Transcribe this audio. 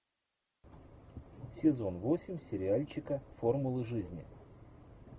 сезон восемь сериальчика формулы жизни